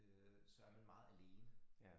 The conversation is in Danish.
Øh så er man meget alene